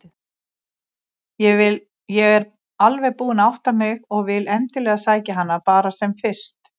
Ég er alveg búin að átta mig og vil endilega sækja hana bara sem fyrst.